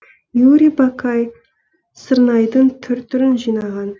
юрий бакай сырнайдың түр түрін жинаған